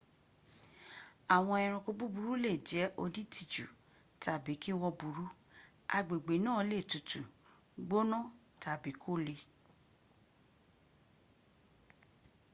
àwọn eranko búburú lè jẹ́ onítìjú tàbí kí wọ́n burú agbègbè náà lè tutù gbaná tàbí kò le